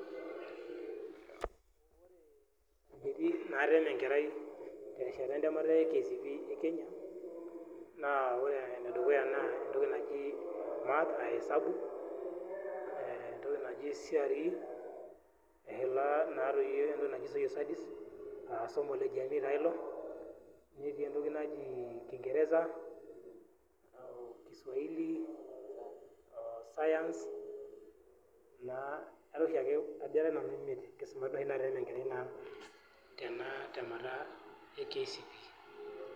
etemi naa enkerai terishata e kcpe e kenya math aa esabu, entoki naji cre eshula entoki naji social studies , netii entoki naji kingeresa,o kiswahili o science, ajo era nanu imiet.